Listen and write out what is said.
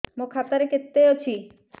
ମୋ ଖାତା ରେ କେତେ ଅଛି